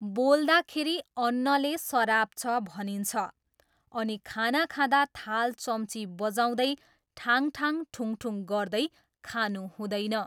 बोल्दाखेरि अन्नले सराप्छ भनिन्छ अनि खाना खाँदा थाल चम्ची बजाउँदै ठाङठाङ ठुङठुङ गर्दै खानु हुँदैन।